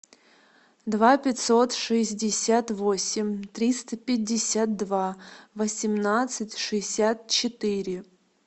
два пятьсот шестьдесят восемь триста пятьдесят два восемнадцать шестьдесят четыре